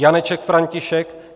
Janeček František